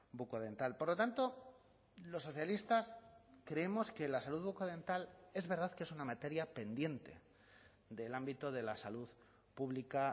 bucodental por lo tanto los socialistas creemos que la salud bucodental es verdad que es una materia pendiente del ámbito de la salud pública